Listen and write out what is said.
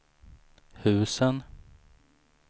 husen